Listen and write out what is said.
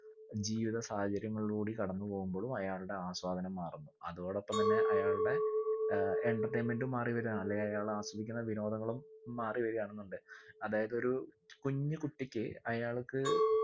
ജീവിത സാഹചര്യങ്ങളിലൂടി കടന്ന് പോകുമ്പോളും അയാളുടെ ആസ്വാദനം മാറുന്നു അതോടൊപ്പം തന്നെ അയാളുടെ ഏർ entertainment ഉം മാറി വരാ അല്ലേ അയാൾ ആസ്വദിക്കുന്ന വിനോദങ്ങളും മാറി വരുവാന്നുണ്ട്‌ അതായത് ഒരു കുഞ്ഞു കുട്ടിക്ക് അയാൾക്ക്